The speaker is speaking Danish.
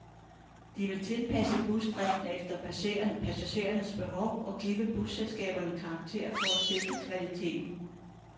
De vil tilpasse busdriften efter passagerernes behov og give busselskaberne karakterer for at sikre kvaliteten.